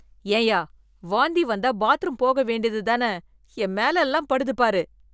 ஏன்யா வாந்தி வந்தா பாத்ரூம் போக வேண்டியது தான? என் மேல எல்லாம் படுது பாரு.